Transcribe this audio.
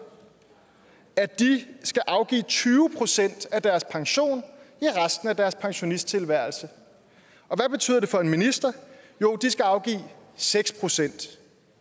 at de skal afgive tyve procent af deres pension i resten af deres pensionisttilværelse og hvad betyder det for en minister jo de skal afgive seks procent